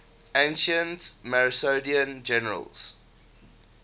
ancient macedonian generals